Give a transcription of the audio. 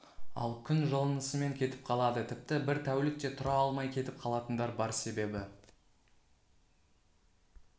ал күн жылынысымен кетіп қалады тіпті бір тәулік те тұра алмай кетіп қалатындар бар себебі